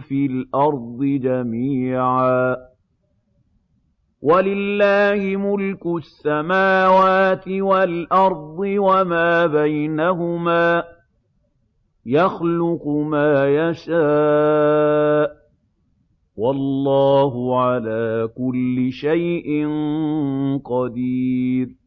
فِي الْأَرْضِ جَمِيعًا ۗ وَلِلَّهِ مُلْكُ السَّمَاوَاتِ وَالْأَرْضِ وَمَا بَيْنَهُمَا ۚ يَخْلُقُ مَا يَشَاءُ ۚ وَاللَّهُ عَلَىٰ كُلِّ شَيْءٍ قَدِيرٌ